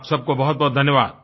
आप सबको बहुतबहुत धन्यवाद